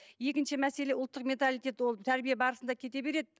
екінші мәселе ұлттық менталтитет ол тәрбие барысында кете береді